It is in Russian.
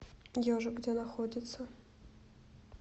ежик где находится